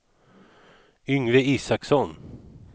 Yngve Isaksson